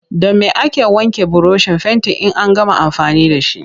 Da me ake wanke burushin fentin in an gama amfani da shi?